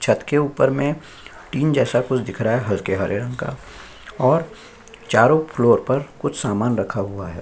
छत के ऊपर में टिन जैसा कुछ दिख रहा है हल्के हरे रंग का और चारो फ्लोर पर कुछ सामान रखा हुआ है।